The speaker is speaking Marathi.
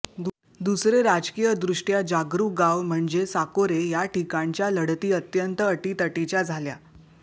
दुसरे राजकीयदृष्ट्या जागरूक गाव म्हणजे साकोरे या ठिकाणच्या लढती अत्यंत अटीतटीच्या झाल्या